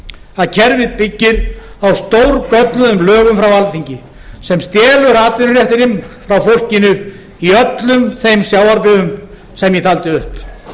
að kerfið byggir á stórgölluðum lögum frá alþingi sem stelur atvinnuréttinum frá fólkinu í öllum þeim sjávarbyggðum sem ég taldi upp